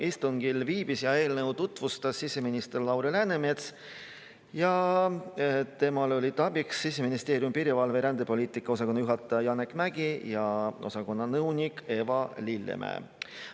Istungil viibis ja eelnõu tutvustas siseminister Lauri Läänemets ja temale olid abiks Siseministeeriumi piirivalve‑ ja rändepoliitika osakonna juhataja Janek Mägi ja osakonna nõunik Eva Lillemäe.